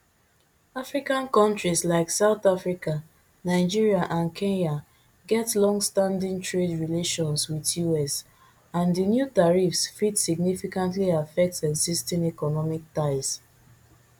african kontris like south africa nigeria and kenya get longstanding trade relations wit us and di new tariffs fit significantly affect existing economic ties